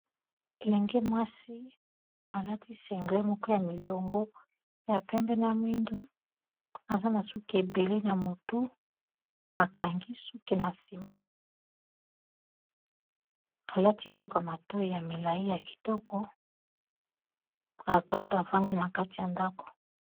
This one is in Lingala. elenge mwasi alati single moko ya milongo ya pembe na mwindu aza na suki ebele na motu akangi suki na nsima alati biloko mato ya milai ya kitoko afandi na kati ya ndako